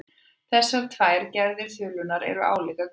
Þessar tvær gerðir þulunnar eru álíka gamlar.